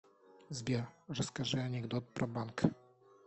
сбер расскажи анекдот про банк